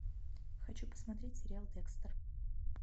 хочу посмотреть сериал декстер